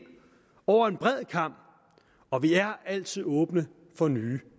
over en bred kam og vi er altid åbne for nye